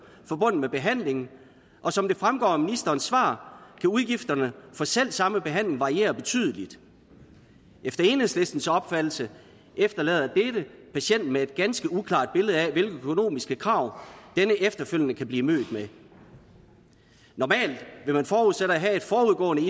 forbundet med behandlingen og som det fremgår af ministerens svar kan udgifterne for selv samme behandling variere betydeligt efter enhedslistens opfattelse efterlader dette patienten med et ganske uklart billede af hvilke økonomiske krav denne efterfølgende kan blive mødt med normalt vil man forudsætte at have et forudgående